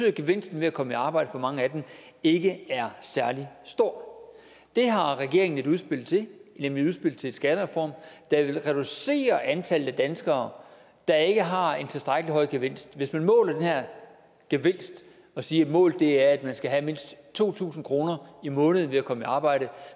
at gevinsten ved at komme i arbejde for mange af dem ikke er særlig stor det har regeringen et udspil til nemlig udspillet til en skattereform der vil reducere antallet af danskere der ikke har en tilstrækkelig høj gevinst hvis man måler den her gevinst og siger at målet er at man skal have mindst to tusind kroner om måneden ved at komme i arbejde